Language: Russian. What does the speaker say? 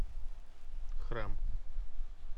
храм